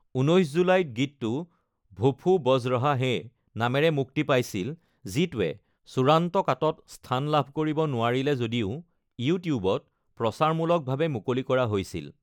১৯ জুলাইত গীতটো ভোফু বজ ৰহা হ্যে নামেৰে মুক্তি পাইছিল যিটোৱে চূড়ান্ত কাটত স্থান লাভ কৰিব নোৱাৰিলে যদিও ইউটিউবত প্ৰচাৰমূলকভাৱে মুকলি কৰা হৈছিল।